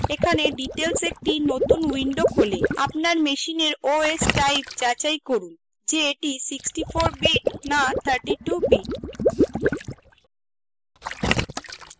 এখানে details একটি নতুন window খোলে আপনার machine os type যাচাই করুন যে এটি 64bit না 32bit